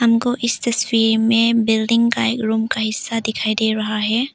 हमको इस तस्वीर में बिल्डिंग का एक रूम का हिस्सा दिखाई दे रहा है।